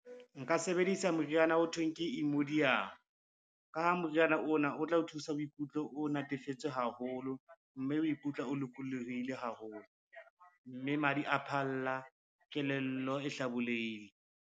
Nka sebedisa moriana o thweng ke , ka ha moriana ona o tla o thusa o ikutlwe o natefetswe haholo, mme o ikutlwe o lokolohile haholo, mme madi a phalla kelello e hlabollehile.